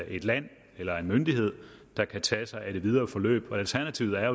et land eller en myndighed der kan tage sig af det videre forløb og alternativet er